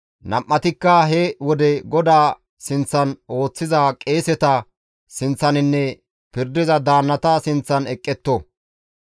nam7atikka he wode GODAA sinththan ooththiza qeeseta sinththaninne pirdiza daannata sinththan eqqetto.